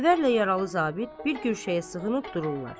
Xavərlə yaralı zabit bir güşəyə sığınıb dururlar.